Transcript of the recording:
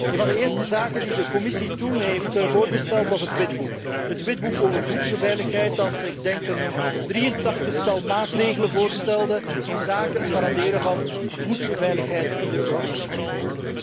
Een van de eerste zaken die de Commissie toen heeft voorgesteld was het Witboek over voedselveiligheid dat, denk ik, een 83 tal maatregelen voorstelde inzake het garanderen van voedselveiligheid in de Europese Unie.